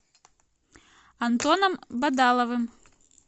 антоном бадаловым